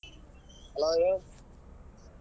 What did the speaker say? Hello ರೀ.